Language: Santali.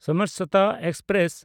ᱥᱟᱢᱟᱨᱥᱚᱛᱟ ᱮᱠᱥᱯᱨᱮᱥ